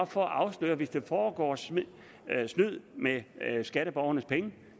for at afsløre hvis der foregår snyd med skatteborgernes penge